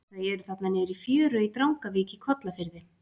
Þau eru þarna niðri í fjöru í Drangavík í Kollafirði.